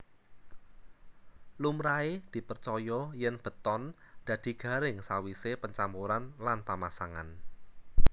Lumrahe dipercaya yèn beton dadi garing sawisé pencampuran lan pamasangan